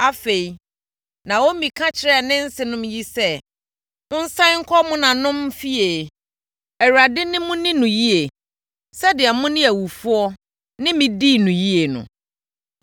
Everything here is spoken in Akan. Afei, Naomi ka kyerɛɛ ne nsenom yi sɛ, “Monsane nkɔ mo maamenom fie. Awurade ne mo nni no yie sɛdeɛ mo ne awufoɔ ne me dii no yie no.